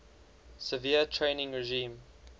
severe training regime